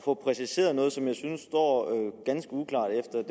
få præciseret noget som jeg synes står ganske uklart efter